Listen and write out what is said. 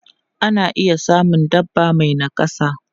Ana iya samun dabba mai nakasa.